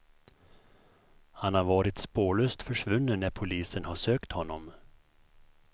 Han har varit spårlöst försvunnen när polisen har sökt honom.